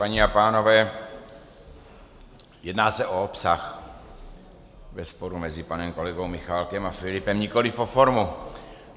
Paní a pánové, jedná se o obsah ve sporu mezi panem kolegou Michálkem a Filipem, nikoliv o formu.